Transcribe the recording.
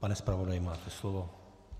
Pane zpravodaji, máte slovo.